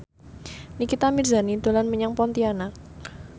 Nikita Mirzani dolan menyang Pontianak